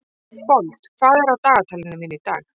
Fold, hvað er á dagatalinu mínu í dag?